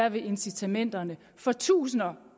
at incitamenterne for tusinder